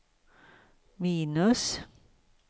minus